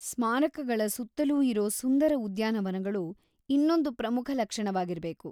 ಸ್ಮಾರಕಗಳ ಸುತ್ತಲೂ ಇರೋ ಸುಂದರ ಉದ್ಯಾನವನಗಳು ಇನ್ನೊಂದು ಪ್ರಮುಖ ಲಕ್ಷಣವಾಗಿರಬೇಕು.